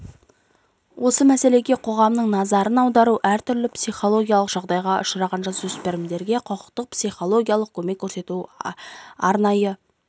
осы мәселеге қоғамның назарын аудару әртүрлі психологиялық жағдайға ұшыраған жасөспірімге құқықтық психологиялық көмек көрсету арнайы